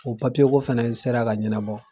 O ko fana sera ka ɲɛnabɔ.